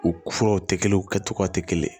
U furaw tɛ kelen u kɛcogo tɛ kelen ye